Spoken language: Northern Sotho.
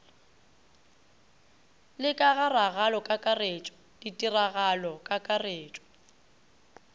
le ka ga ragalokakaretšo ditiragalokakaretšo